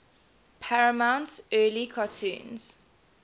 paramount's early cartoons